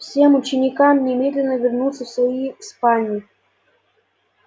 всем ученикам немедленно вернуться в свои спальни